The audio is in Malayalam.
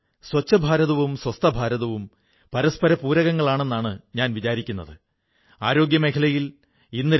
എന്റെ പ്രിയപ്പെട്ട ദേശവാസികളേ സർദാർ പട്ടേൽ തന്റെ ജീവിതം മുഴുവൻ രാജ്യത്തിന്റെ ഐക്യത്തിനുവേണ്ടി സമർപ്പിച്ചു